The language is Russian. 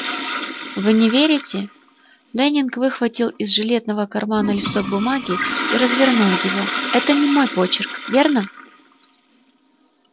вы не верите лэннинг выхватил из жилетного кармана листок бумаги и развернул его это не мой почерк верно